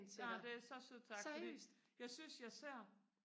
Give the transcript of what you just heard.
ej det er så sødt sagt fordi jeg synes jeg ser